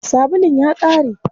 Sabulun ya ƙare.